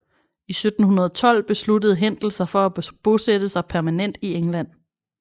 I 1712 besluttede Händel sig for at bosætte sig permanent i England